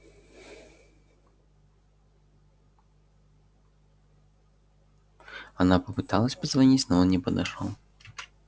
она попыталась позвонить но он не подошёл